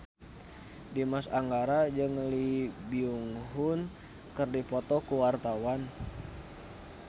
Dimas Anggara jeung Lee Byung Hun keur dipoto ku wartawan